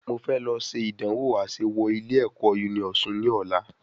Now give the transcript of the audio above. Mo fẹ lọ ṣe ìdánwò àṣẹ wọ ilé ẹ̀kọ́ Uniosun ni ọ̀la